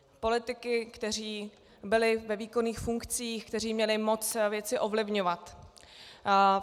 Politiky, kteří byli ve výkonných funkcích, kteří měli moc věci ovlivňovat.